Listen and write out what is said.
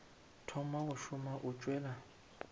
thoma go šoma o tšwela